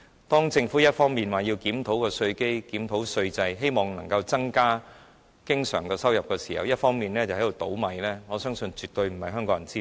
當政府一方面說要檢討稅基和稅制，希望能增加經常收入時，另一方面卻在"倒米"，我相信絕非香港人之福。